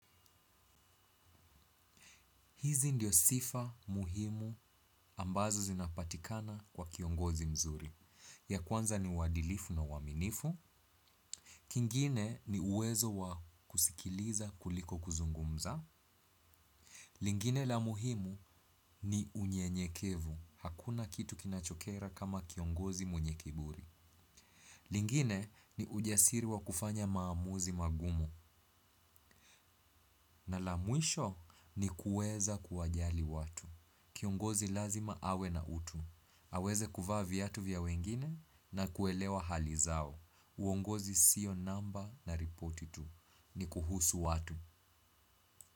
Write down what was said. Hizi ndiyo sifa muhimu ambazo zinapatikana kwa kiongozi mzuri. Ya kwanza ni uadilifu na uaminifu. Kingine ni uwezo wa kusikiliza kuliko kuzungumza. Lingine la muhimu ni unyenyekevu. Hakuna kitu kinachokera kama kiongozi mwenye kiburi. Lingine ni ujasiri wa kufanya maamuzi magumu. Na la mwisho ni kuweza kuwajali watu. Kiongozi lazima awe na utu. Aweze kuvaa viatu vya wengine na kuelewa hali zao. Uongozi sio namba na repoti itu ni kuhusu watu.